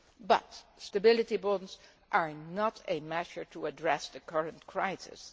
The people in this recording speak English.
But stability bonds are not a measure to address the current crisis.